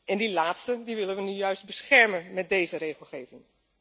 En die laatste willen we nou juist beschermen met deze regelgeving.